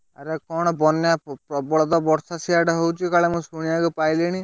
ଆରେ କଣ ବନ୍ୟା ପ୍ରବଳ ତ ବର୍ଷା ସିଆଡେ ହଉଛି କାଳେ ମୁଁ ଶୁଣିବାକୁ ପାଇଲିଣି?